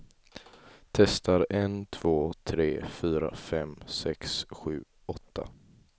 Testar en två tre fyra fem sex sju åtta.